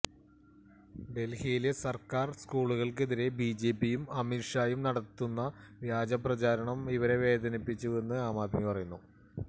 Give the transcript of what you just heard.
ഡൽഹിയിലെ സർക്കാർ സ്കൂളുകൾക്കെതിരെ ബിജെപിയും അമിത് ഷായും നടത്തുന്ന വ്യാജപ്രചരണം ഇവരെ വേദനിപ്പിച്ചുവെന്ന് ആംആദ്മി പറയുന്നു